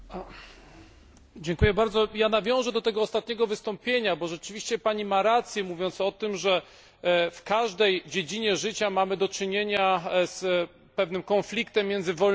Ja nawiążę do tego ostatniego wystąpienia, bo rzeczywiście Pani ma rację, mówiąc o tym, że w każdej dziedzinie życia mamy do czynienia z pewnym konfliktem między wolnością a bezpieczeństwem.